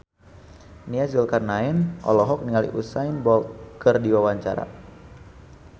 Nia Zulkarnaen olohok ningali Usain Bolt keur diwawancara